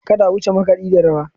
Kada a wuce makaɗi da rawa.